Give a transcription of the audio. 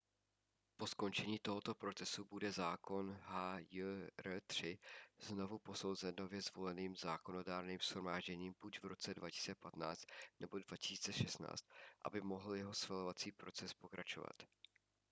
po skončení tohoto procesu bude zákon hjr-3 znovu posouzen nově zvoleným zákonodárným shromážděním buď v roce 2015 nebo 2016 aby mohl jeho schvalovací proces pokračovat